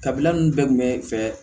Kabila ninnu bɛɛ kun bɛ fɛ